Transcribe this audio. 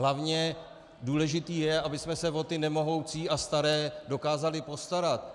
Hlavně důležité je, abychom se o ty nemohoucí a staré dokázali postarat.